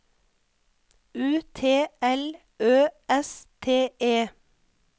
U T L Ø S T E